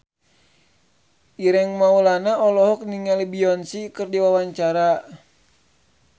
Ireng Maulana olohok ningali Beyonce keur diwawancara